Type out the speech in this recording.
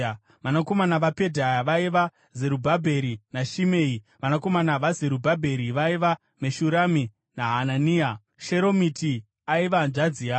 Vanakomana vaPedhaya vaiva: Zerubhabheri naShimei. Vanakomana vaZerubhabheri vaiva: Meshurami naHanania. Sheromiti aiva hanzvadzi yavo.